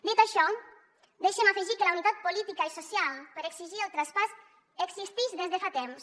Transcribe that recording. dit això deixe’m afegir que la unitat política i social per exigir el traspàs existix des de fa temps